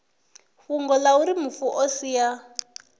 fhungo auri mufu o sia